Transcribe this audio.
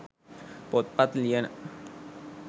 පොත්පත් ලියන,